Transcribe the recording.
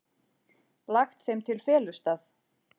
Lagt þeim til felustað.